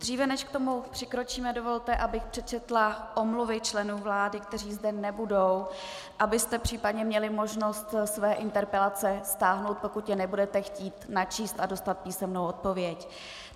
Dříve než k tomu přikročíme, dovolte, abych přečetla omluvy členů vlády, kteří zde nebudou, abyste případně měli možnost svoje interpelace stáhnout, pokud je nebudete chtít načíst a dostat písemnou odpověď.